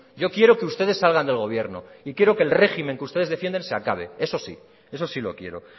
yo quiero que ustedes salgan del gobierno y quiero que el régimen que ustedes defienden se acabe eso sí eso sí lo quiero